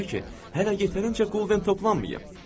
Ona görə ki, hələ yetərincə qulden toplanmayıb.